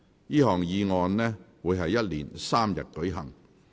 這項議案辯論會一連3天舉行。